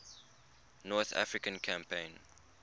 north african campaign